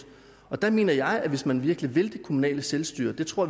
der mener jeg at hvis man virkelig vil det kommunale selvstyre og det tror